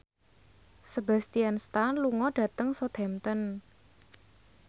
Sebastian Stan lunga dhateng Southampton